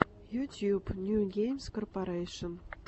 ютюб нью геймс корпарэйшн